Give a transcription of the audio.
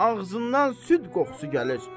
Ağzından süd qoxusu gəlir.